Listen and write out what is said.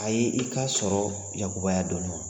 A ye i ka sɔrɔ yakubaya dɔɔni wa ?